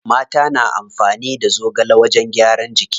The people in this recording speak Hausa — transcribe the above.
Mata na amfani da zogale wajen gyaran jiki.